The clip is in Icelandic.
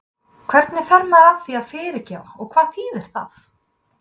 Hvernig fer maður að því að fyrirgefa og hvað þýðir það?